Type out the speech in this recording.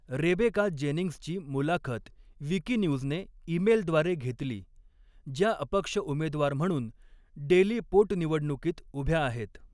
Rebecca जेनिंग्सची मुलाखत विकिन्यूजने ईमेलद्वारे घेतली, ज्या अपक्ष उमेदवार म्हणून डेली पोटनिवडणुकीत उभ्या आहेत.